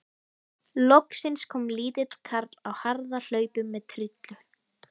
Loksins kom lítill karl á harðahlaupum með trillu.